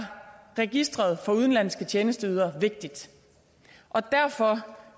register for udenlandske tjenesteydere vigtigt og derfor